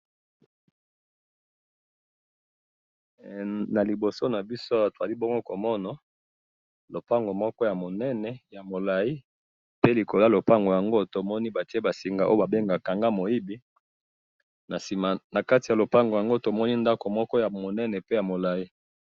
na liboso na biso awa tozali bongo komona lopango moko ya monene ya molai, pe likolo ya lopango yango tomoni batie ba singa oyo ba bengaka kanga moyibi, na kati ya lopango yango tomoni pe ndako moko ya monene pe ya molai